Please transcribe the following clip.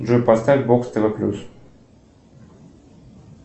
джой поставь бокс тв плюс